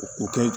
U k'o kɛ